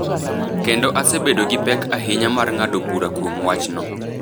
kendo asebedo gi pek ahinya mar ng’ado bura kuom wachno.